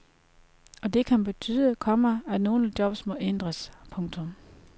Og det kan betyde, komma at nogle jobs må ændres. punktum